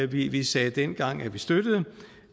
vi vi sagde dengang at vi støttede